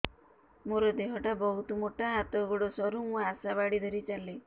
ମୋର ଦେହ ଟା ବହୁତ ମୋଟା ହାତ ଗୋଡ଼ ସରୁ ମୁ ଆଶା ବାଡ଼ି ଧରି ଚାଲେ